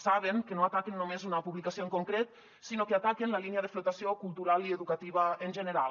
saben que no ataquen només una publicació en concret sinó que ataquen la línia de flotació cultural i educativa en general